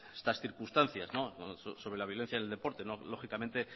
estas circunstancias sobre la violencia en el deporte lógicamente